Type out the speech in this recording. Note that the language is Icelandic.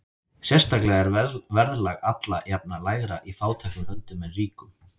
Sérstaklega er verðlag alla jafna lægra í fátækum löndum en ríkum.